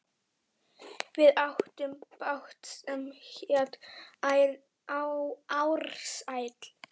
Við áttum bát sem hét Ársæll.